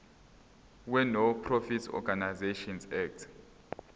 wenonprofit organisations act